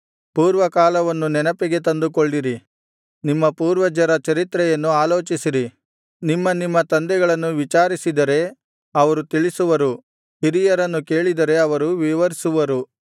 ಪೂರ್ವಕಾಲವನ್ನು ನೆನಪಿಗೆ ತಂದುಕೊಳ್ಳಿರಿ ನಿಮ್ಮ ಪೂರ್ವಜರ ಚರಿತ್ರೆಯನ್ನು ಆಲೋಚಿಸಿರಿ ನಿಮ್ಮ ನಿಮ್ಮ ತಂದೆಗಳನ್ನು ವಿಚಾರಿಸಿದರೆ ಅವರು ತಿಳಿಸುವರು ಹಿರಿಯರನ್ನು ಕೇಳಿದರೆ ಅವರು ವಿವರಿಸುವರು